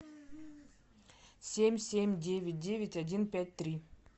семь семь девять девять один пять три